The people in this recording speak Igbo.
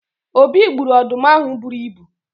obi gburu ọdụm ahụ buru ibu